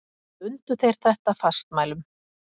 Bundu þeir þetta fastmælum.